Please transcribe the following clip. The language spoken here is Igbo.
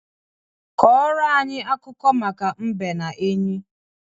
Kọrọ anyị akụkọ maka mbe na enyí.